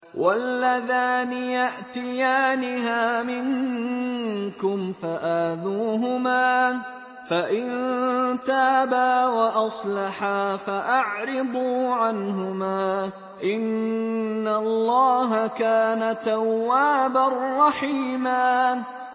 وَاللَّذَانِ يَأْتِيَانِهَا مِنكُمْ فَآذُوهُمَا ۖ فَإِن تَابَا وَأَصْلَحَا فَأَعْرِضُوا عَنْهُمَا ۗ إِنَّ اللَّهَ كَانَ تَوَّابًا رَّحِيمًا